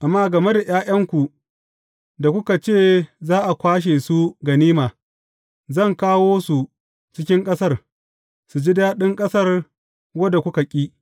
Amma game da ’ya’yanku da kuka ce za a kwashe ganima, zan kawo su cikin ƙasar, su ji daɗin ƙasar wadda kuka ƙi.